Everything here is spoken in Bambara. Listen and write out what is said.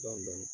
Dɔɔnin dɔɔnin